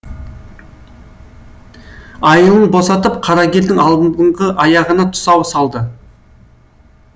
айылын босатып қарагердің алдыңғы аяғына тұсау салды